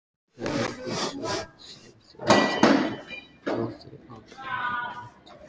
Þau eignuðust son sem þeim þótti báðum ákaflega vænt um.